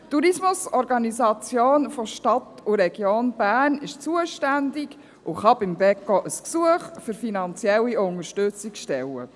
Die Tourismusorganisation der Stadt und Region Bern ist zuständig, und beim Beco kann man ein Gesuch für finanzielle Unterstützung stellen.